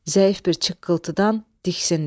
Zəif bir çıqqıltıdan diksindi.